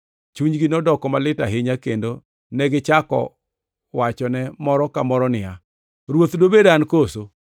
Chunygi nodoko malit ahinya, kendo negichako wachone moro ka moro niya, “Ruoth, dobed an koso?”